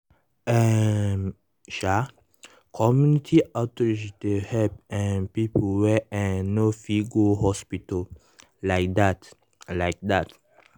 hmm- um community outreach dey help um people wey eh no fit go hospital like that like that.